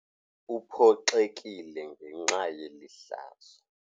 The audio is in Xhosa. Uphoxekile ngenxa yeli hlazo.